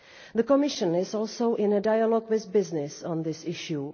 The Commission is also in dialogue with business on this issue.